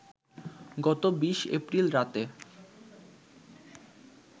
গত ২০ এপ্রিল রাতে